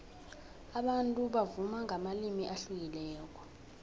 abantu bavuma ngamalimi ahlukileko